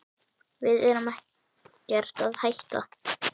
Við erum ekkert að hætta.